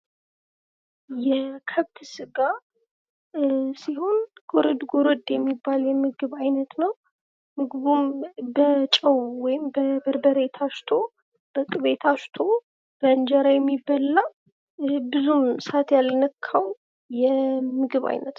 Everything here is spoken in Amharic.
የከብት ስጋ ሲሆን ጎረድ ጎረድ የሚባል የምግብ ዓይነት ነው። ምግቡም በርበሬ ታሽቶ በቅበ ታሽቶ የእንጀራ የሚበላ ብዙ ሳት ያልነካው የምግብ አይነት ነው።